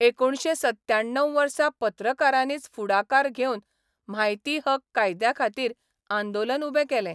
एकुणशें सत्त्याण्णव वर्सा पत्रकारांनीच फुडाकार घेवन म्हायती हक कायद्याखातीर आंदोलन उबें केलें.